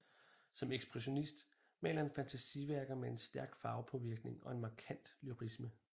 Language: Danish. Som ekspressionist maler han fantasiværker med stærk farvepåvirkning og en markant lyrisme